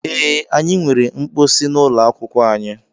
Ee, anyị nwere mposi n'ụlọ akwụkwọ anyị.